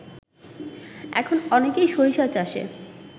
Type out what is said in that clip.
এখন অনেকেই সরিষা চাষে